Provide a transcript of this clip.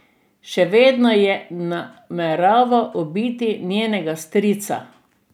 Še vedno je nameraval ubiti njenega strica.